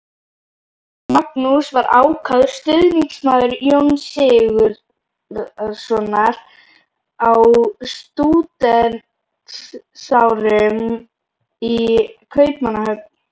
Magnús var ákafur stuðningsmaður Jóns Sigurðssonar á stúdentsárum í Kaupmannahöfn.